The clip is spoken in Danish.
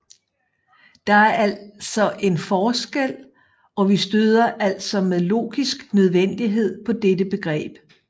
Der er altså en forskel og vi støder altså med logisk nødvendighed på dette begreb